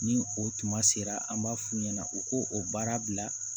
Ni o tuma sera an b'a f'u ɲɛna u k'o o baara bila